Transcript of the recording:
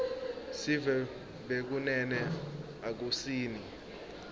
sive bekunene akusini